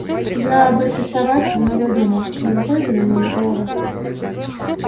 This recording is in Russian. я об этой собаке много думал не выходит она у меня из головы